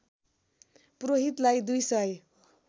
पुरोहितलाई दुई सय